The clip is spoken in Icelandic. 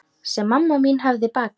Sem mamma mín hefði bakað.